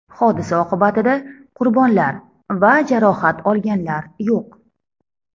Hodisa oqibatida qurbonlar va jarohat olganlar yo‘q.